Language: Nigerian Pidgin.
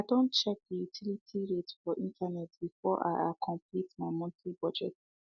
i Accepted check the utility rate for internet before i i complete my monthly budget